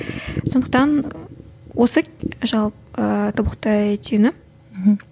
сондықтан осы тобықтай түйіні мхм